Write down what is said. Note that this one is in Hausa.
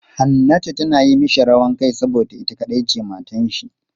Hannatu is misbehaving because she is the only wive he has.